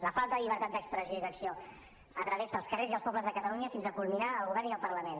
la falta de llibertat d’expressió i d’acció travessa els carrers i els pobles de catalunya fins a culminar al govern i al parlament